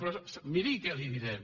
però miri què li direm